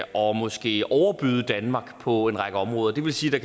og måske overbyde danmark på en række områder det vil sige